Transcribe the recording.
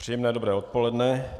Příjemné dobré odpoledne.